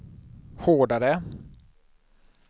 hårdare